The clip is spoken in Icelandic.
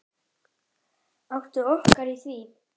Áttum okkur á því.